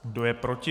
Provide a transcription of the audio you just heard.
Kdo je proti?